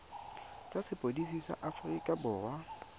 tsa sepodisi sa aforika borwa